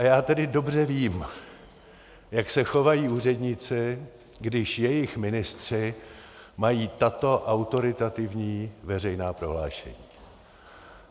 A já tedy dobře vím, jak se chovají úředníci, když jejich ministři mají tato autoritativní veřejná prohlášení.